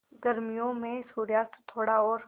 गर्मियों में सूर्यास्त थोड़ा और